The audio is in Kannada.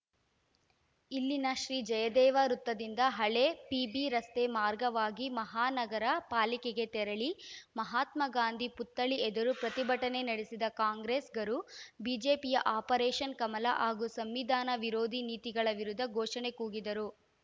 ಇಲ್ಲಿನ ಶ್ರೀ ಜಯದೇವ ವೃತ್ತದಿಂದ ಹಳೆ ಪಿಬಿ ರಸ್ತೆ ಮಾರ್ಗವಾಗಿ ಮಹಾ ನಗರ ಪಾಲಿಕೆಗೆ ತೆರಳಿ ಮಹಾತ್ಮ ಗಾಂಧಿ ಪುತ್ಥಳಿ ಎದುರು ಪ್ರತಿಭಟನೆ ನಡೆಸಿದ ಕಾಂಗ್ರೆಸ್ಸಿ ಗರು ಬಿಜೆಪಿಯ ಆಪರೇಷನ್‌ ಕಮಲ ಹಾಗೂ ಸಂವಿಧಾನ ವಿರೋಧಿ ನೀತಿಗಳ ವಿರುದ್ಧ ಘೋಷಣೆ ಕೂಗಿದರು